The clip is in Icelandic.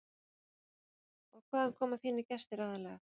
Magnús Hlynur: Og hvaðan koma þínir gestir aðallega?